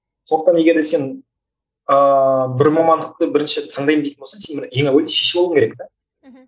сондықтан егерде сен ыыы бір мамандықты бірінші таңдаймын дейтін болсаң сен бір ең әуелі шешіп алу керек те мхм